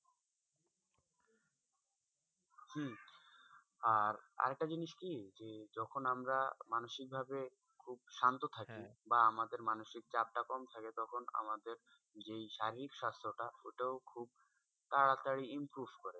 আর, আর একটা জিনিস কি? যে যখন আমরা মানসিক ভাবে খুব শান্ত থাকি বা আমাদের মানসিক চাপ টা খুব কম থাকে তখন আমাদের যে শারীরিক স্বাস্থ্যাটা ওটাও খুব তাড়াতাড়ি improve করে।